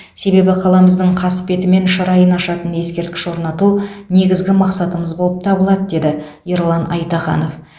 себебі қаламыздың қасбеті мен шырайын ашатын ескерткіш орнату негізгі мақсатымыз болып табылады деді ерлан айтаханов